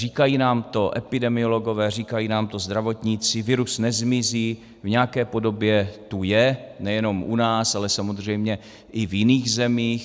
Říkají nám to epidemiologové, říkají nám to zdravotníci, virus nezmizí, v nějaké podobě tu je, nejenom u nás, ale samozřejmě i v jiných zemích.